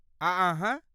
आ अहाँ?